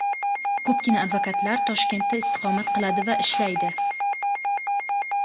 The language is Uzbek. Ko‘pgina advokatlar Toshkentda istiqomat qiladi va ishlaydi.